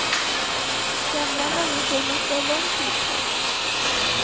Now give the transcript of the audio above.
Gamla människor måste ha lång tid på sig.